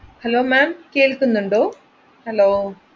hello m'am കേൾക്കുന്നുണ്ടോ? hello